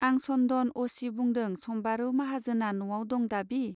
आं सन्दन अ सि बुंदों सम्बारू माहाजोना नआव दं दाबि.